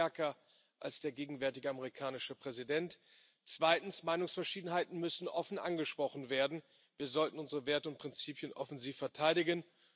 Sie sind stärker als der gegenwärtige amerikanische Präsident. Zweitens Meinungsverschiedenheiten müssen offen angesprochen werden. Wir sollten unsere Werte und Prinzipien offensiv verteidigen.